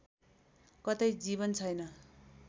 कतै जीवन छैन